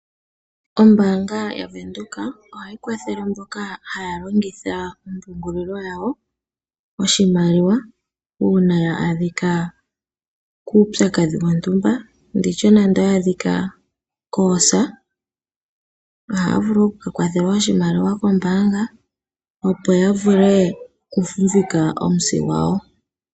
Ombaanga yaVenduka ohayi kwathele mboka haa longitha ompungulilo yawo oshimaliwa uuna ya adhika kuupyakadhi wontumba. Ndi tye nando oya adhika koosa, ohaa vulu okukwathelwa oshimaliwa kombaanga opo ya vule okufumvika omusi gwawo.